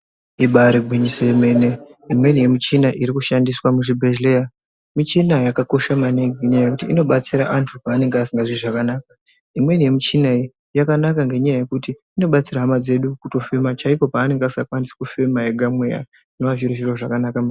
Ibari gwinyiso yemene. Imweni yemichina irikushandiswa muzvibhehleya michina yakakosha maningi ngenyaya yekuti inobatsira antu pavanenge vasingazwi zvakanaka. Imweni yemichina iyi yakanaka ngenyaya yekuti inobatsira hama dzedu kutofema chaikwo panenge asingakwanisi kufema ega mweya zvinova zviri zviro zvakanaka.